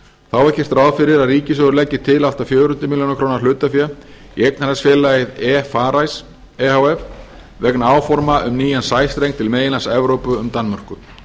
þá er gert ráð fyrir að ríkissjóður leggi til allt að fjögur hundruð ár hlutafé í eignarhaldsfélagið e farice e h f vegna áforma um nýjan sæstreng til meginlands evrópu um danmörku